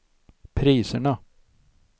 priserna